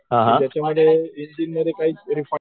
त्याच्यामध्ये